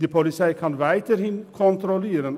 Die Polizei kann weiterhin kontrollieren.